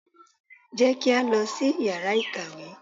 Jẹ́ kí á lọ sí yàrá ìkàwé!